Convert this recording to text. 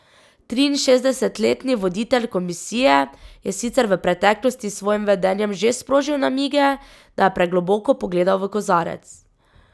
Triinšestdesetletni voditelj Komisije je sicer v preteklosti s svojim vedenjem že sprožil namige, da je pregloboko pogledal v kozarec.